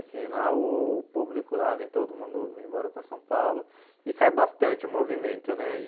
Assim, lá o público lá, vem todo mundo embora para São Paulo e cai bastante o movimento, né? E